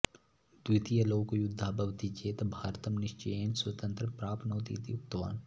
द्वितीय लोक युद्धः भवति चेत् भारतं निश्चयेन स्वतन्त्रं प्राप्नोति इति उक्तवान्